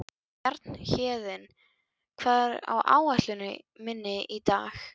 Bjarnhéðinn, hvað er á áætluninni minni í dag?